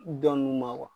Dɔn nunnu ma